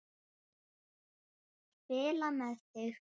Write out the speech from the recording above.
Spila með þig?